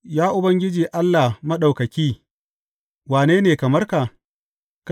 Ya Ubangiji Allah Maɗaukaki, wane ne kamar ka?